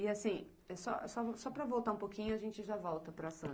E, assim, só, só, só para voltar um pouquinho, a gente já volta para Santos.